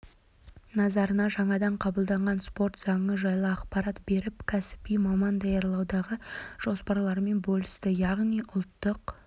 назарына жаңадан қабылданған спорт заңы жайлы ақпарат беріп кәсіби маман даярлаудағы жоспарларымен бөлісті яғни ұлттық